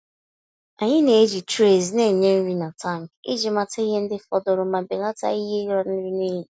Anyị na-eji trays na-enye nri na tankị iji mata ihe ndị fọdụrụ ma belata ihe ịla nri n'iyi.